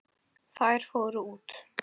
Þær fóru út.